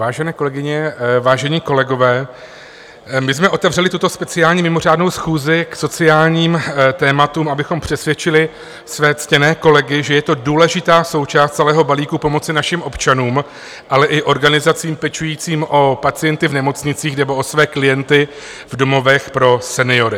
Vážené kolegyně, vážení kolegové, my jsme otevřeli tuto speciální mimořádnou schůzi k sociálním tématům, abychom přesvědčili své ctěné kolegy, že je to důležitá součást celého balíku pomoci našim občanům, ale i organizacím pečujícím o pacienty v nemocnicích nebo o své klienty v domovech pro seniory.